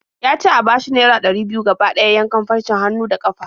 Ya ce a bashi naira ɗari biyu gaba ɗaya yankan farcen hannu da ƙafa.